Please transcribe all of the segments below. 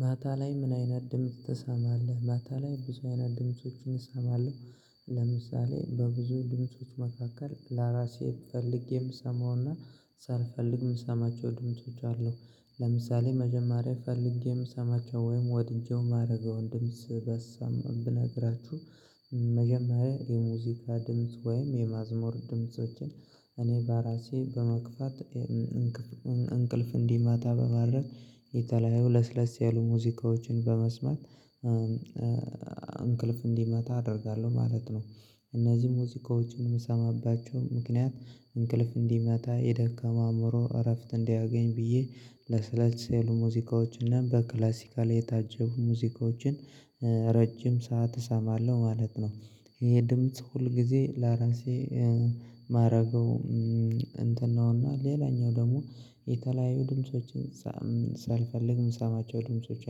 ማታ ላይ ምን አይነት ድምጽ ትሰማለህ? ማታ ላይ ብዙ አይነት ድምፆችን እሰማለሁ። ለምሳሌ በብዙ ድምጾች መካከል ለራሴ ስፈልግ የምሰማውና ሳልፈልግ የምሰማቸው ድምጾች አሉ። ለምሳሌ መጀመሪያ ፈልጌ የምሰማቸው ወይም ወድጄው ማረገውን ድምጽ በሰም ብነግራችሁ መጀመሪያ የሙዚቃ ድምጽ ወይም የመዝሙር ድምፆችን እኔ በራሴ በመግፋት እንቅልፍ እንዲመጣ በማድረግ የተለያዩ ለስለስ ያሉ ሙዚቃዎችን በመስማት እንቅልፍ እንዲመጣ አደርጋለሁ ማለት ነው። እነዚህ ሙዚቃዎችን የምሰማባቸው ምክንያት እንቅልፍ እንዲመጣ የደከመ አእምሮ እረፍት እንዲያገኝ ብዬ ለስለስ ያሉ ሙዚቃዎች እና በክላሲካል የታጀቡ ሙዚቃዎችን ረጅም ሰዓት እሰማለሁ ማለት ነው። ይሄ ድምጽ ሁል ጊዜ ለራሴ ማረገው እንትን ነውና ሌላኛው ደግሞ የተለያዩ ድምፆችን ሳልፈልግ የምሰማቸው ድምጾች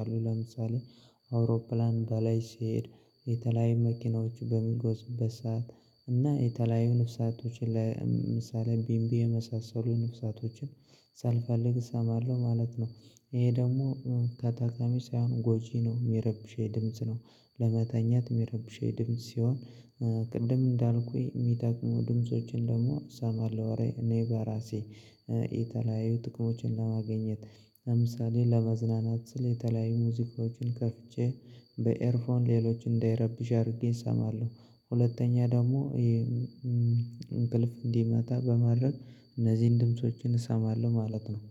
አሉ። ለምሳሌ አውሮፕላን በላይ ሲሄድ የተለያዩ መኪናዎች በሚጓዙበት ሰዓት እና የተለያዩ ነፍሳቶችን ለምሳሌ ቢምቢ የመሳሰሉ ነፍሳቶችን ሳልፈልግ እሰማለሁ ማለት ነው። ይሄ ደግሞ ከጠቃሚ ሳይሆን ጎጂ ነው። የሚረብሸኝ ድምጽ ነው። ለመተኛት የሚረብሸኝ ድምጽ ሲሆን ቅድም እንዳልኩኝ የሚጠቅሙ ድምፆችን ደግሞ እሰማለሁ። እኔ በራሴ የተለያዩ ጥቅሞችን ለማግኘት። ለምሳሌ ለመዝናናት ስል የተለያዩ ሙዚቃዎችን ከፍቼ በኤርፎን ሌሎች እንዳይረብሽ አድርጌ እሰማለሁ። ሁለተኛ ደግሞ ይሄ እንቅልፍ እንዲመጣ በማድረግ እነዚህን ድምፆችን እሰማለሁ ማለት ነው።